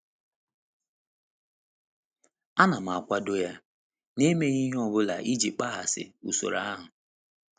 A na m akwado ya, na-emeghị ihe ọ bụla iji kpaghasị usoro ahụ?